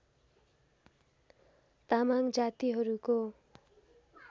तामाङ जातिहरूको